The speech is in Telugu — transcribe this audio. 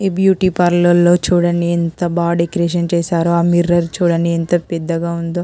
ఈ బ్యూటీ పార్లోర్ చుడండి ఎంత బాగా డిజైన్ చేసారో ఆ మిర్రర్ చుడండి ఎంత పెద్ద గ ఉందొ --